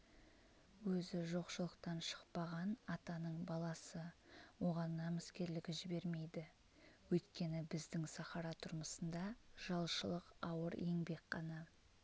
өзі жоқшылықтан шықпаған атаның баласы оған намыскерлігі жібермейді өйткені біздің сахара тұрмысында жалшылық ауыр еңбек қана